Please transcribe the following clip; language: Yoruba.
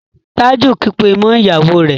Taju kígbe mọ ìyàwó rẹ